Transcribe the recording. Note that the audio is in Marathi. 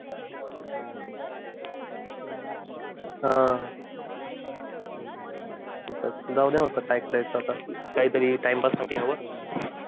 अं जाऊद्या काहीतरी time pass साठी